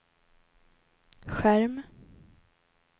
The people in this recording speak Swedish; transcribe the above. skärm